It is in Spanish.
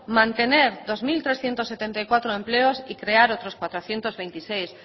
mantener dos mil trescientos setenta y cuatro empleos y crear otros cuatrocientos veintiséis